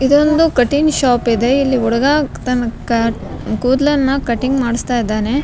ಇದ್ದೊಂದು cutting shop ಇದೆ ಇಲ್ಲಿ ಹುಡ್ಗ ತನ್ನ ಕ ಕೂದ್ಲನ್ನ ಕಟಿಂಗ್ ಮಾಡ್ಸ್ತಾ ಇದ್ದಾನೆ.